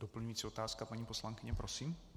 Doplňující otázka paní poslankyně, prosím.